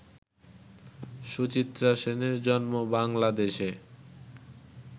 সুচিত্রা সেনের জন্ম বাংলাদেশে